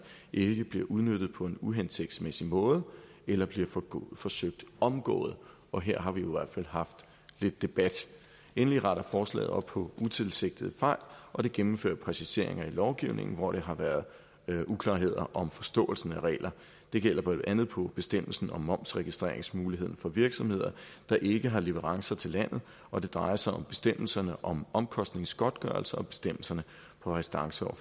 ikke bliver udnyttet på en uhensigtsmæssig måde eller bliver forsøgt omgået og her har vi jo i hvert fald haft lidt debat endelig retter forslaget op på utilsigtede fejl og det gennemfører præciseringer i lovgivningen hvor der har været uklarheder om forståelsen af regler det gælder blandt andet på bestemmelsen om momsregistreringsmuligheden for virksomheder der ikke har leverancer til landet og det drejer sig om bestemmelserne om omkostningsgodtgørelser og bestemmelserne på restance og